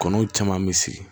Kɔnɔw caman bɛ sigi